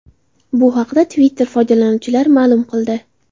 Bu haqda Twitter foydalanuvchilari ma’lum qildi.